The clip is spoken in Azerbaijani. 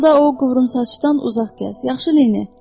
Hər halda o qıvrımsaçdan uzaq gəz, yaxşı Leni?